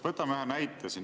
Võtame ühe näite.